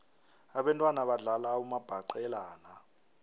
abentwana badlala umabhaqelana